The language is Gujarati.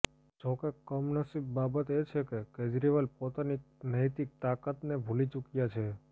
જો કે કમનસીબ બાબત એ છે કે કેજરીવાલ પોતાની નૈતિક તાકાતને ભુલી ચુક્યા છે